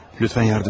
Lütfən, yardım edin.